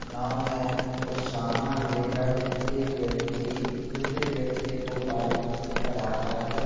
नाव में कुछ सामान लेकर एक व्‍यक्ति दूसरे व्‍यक्ति को पार कराता है ।